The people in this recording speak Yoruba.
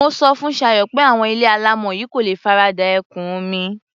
Mo sọ fún Ṣayọ̀ pé àwọn ilé alámọ̀ yìí kò lè farada ẹ̀kún omi.